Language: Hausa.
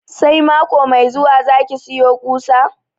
Sai mako mai zuwa za ki sayi kusa?